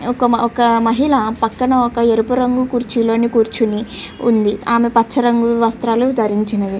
ఒక మహిళా పక్కన ఒక ఎరుపు రంగు కుర్చీ లో కూర్చొని ఉంది ఆమె పచ్చ రంగు దుస్తులు ధరించి ఉంది .